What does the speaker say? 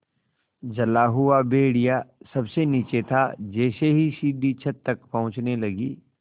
जला हुआ भेड़िया सबसे नीचे था जैसे ही सीढ़ी छत तक पहुँचने लगी